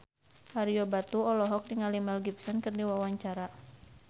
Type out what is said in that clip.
Ario Batu olohok ningali Mel Gibson keur diwawancara